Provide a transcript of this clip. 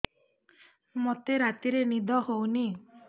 ମୋତେ ରାତିରେ ନିଦ ହେଉନି